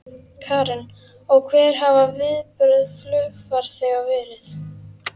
Karen: Og hver hafa viðbrögð flugfarþega verið?